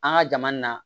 An ka jama in na